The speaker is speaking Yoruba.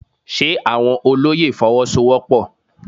Ṣe àwọn olóyè Fọwọ́sowọ́pọ̀?